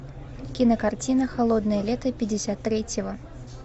кинокартина холодное лето пятьдесят третьего